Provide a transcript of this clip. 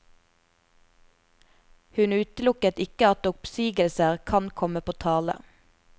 Hun utelukket ikke at oppsigelser kan komme på tale.